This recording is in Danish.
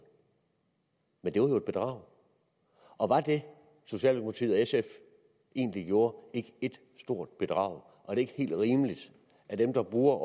men det var jo et bedrag og var det socialdemokratiet og sf egentlig gjorde ikke et stort bedrag og er det ikke helt rimeligt at dem der bruger